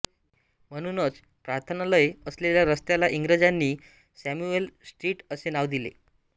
म्हणूनच प्रार्थनालय असलेल्या रस्त्याला इंग्रजांनी सॅम्युएल स्ट्रीट असे नाव दिले